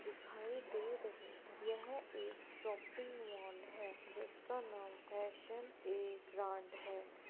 दिखाई दे रहे हैं। यह एक शॉपिंग मॉल है जिसका नाम फैशन ए ब्रांड है।